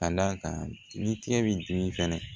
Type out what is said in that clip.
Ka d'a kan ni tigɛ bi dimi fɛnɛ